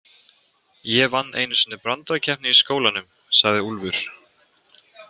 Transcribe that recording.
Ég vann einu sinni brandarakeppni í skólanum, sagði Úlfur.